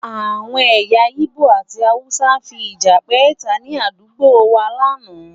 Àwọn ẹ̀yà igbó àti hausa fi ìjà pẹ́ta ni àdúgbò wá láánaà